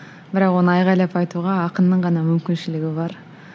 бірақ оны айғайлап айтуға ақынның ғана мүмкіншілігі бар